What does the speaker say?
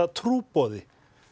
trúboði